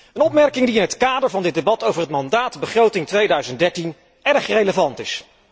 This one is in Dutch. Een opmerking die in het kader van dit debat over het mandaat begroting 2013 erg relevant is.